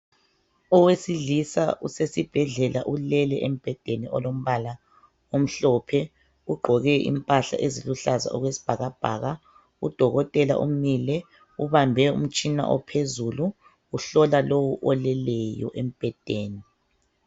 Owesilisa usesibhedlela ulele embhedeni olombala omhlophe, ugqoke impahla eziluhlaza okwesibhakabhaka udokotela umile ubambe umtshina ophezulu uhlola lo oleyo embhedeni.